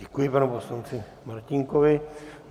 Děkuji panu poslanci Martínkovi.